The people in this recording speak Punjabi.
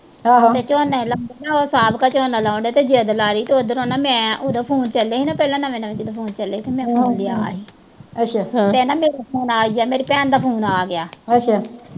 ਝੋਨਾ ਲਾਉਣ ਡਏ ਨਾ ਉਹ ਸਾਹਬ ਕਾ ਝੋਨਾ ਲਾਉਣ ਡਏ ਤੇ ਜਿਦ ਲਾਲੀ ਤੇ ਉਧਰੋਂ ਨਾ ਮੈਂ, ਉਦੋਂ ਫੋਨ ਚੱਲੇ ਸੀ ਨਾ ਪਹਿਲਾਂ ਨਵੇਂ-ਨਵੇਂ ਜਦੋਂ ਫੋਨ ਚੱਲੇ ਸੀ ਨਵੇਂ ਤੇ ਨਾ ਮੇਰੇ ਫੋਨ ਆਈ ਗਿਆ, ਮੇਰੀ ਭੈਣ ਦਾ ਫੋਨ ਆਗਿਆ